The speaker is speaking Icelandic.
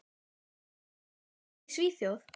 Ertu búinn að finna þér lið í Svíþjóð?